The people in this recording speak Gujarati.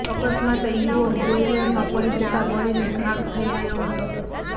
અકસ્માતે યુવક બોઇલરમાં પડી જતા બળીને ખાખ થઇ ગયો હતો